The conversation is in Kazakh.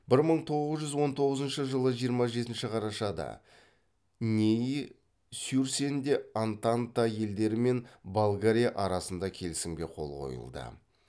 бір мың тоғыз жүз он тоғызыншы жылы жиырма жетінші қарашада нейи сюрсенде антанта елдері мен болгария арасында келісімге қол қойылды